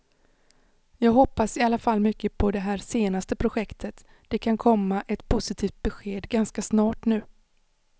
Jag hoppas i alla fall mycket på det här senaste projektet, det kan komma ett positivt besked ganska snart nu.